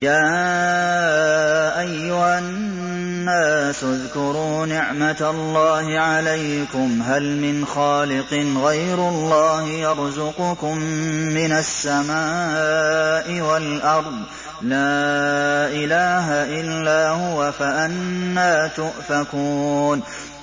يَا أَيُّهَا النَّاسُ اذْكُرُوا نِعْمَتَ اللَّهِ عَلَيْكُمْ ۚ هَلْ مِنْ خَالِقٍ غَيْرُ اللَّهِ يَرْزُقُكُم مِّنَ السَّمَاءِ وَالْأَرْضِ ۚ لَا إِلَٰهَ إِلَّا هُوَ ۖ فَأَنَّىٰ تُؤْفَكُونَ